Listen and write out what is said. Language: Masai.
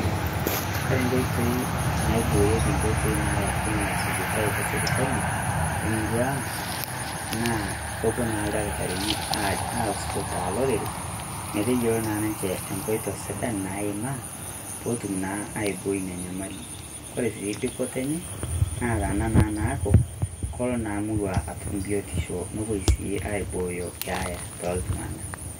Koree nkoitoi naaiboorieki nkoitoi naalokunye esujitai te sipitali emurrua ang', naa kepoo naa ldakitarini asukutaa lorere meteiyelo naa ninchee ekoito sidaan neimaa pootum naa aaiboi nia nyamali. Koree sii dupoto enye naa tanaa naako koloo naa murrua atum biotisho nepoo sii aibooyo keaya.